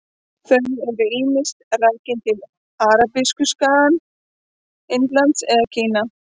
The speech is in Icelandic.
Þau eru ýmist rakin til Arabíuskagans, Indlands eða Kína.